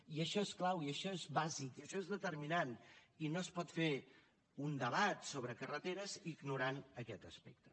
i això és clau i això és bàsic i això és determinant i no es pot fer un debat sobre carreteres ignorant aquest aspecte